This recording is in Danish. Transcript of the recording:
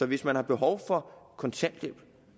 hvis man har behov for kontanthjælp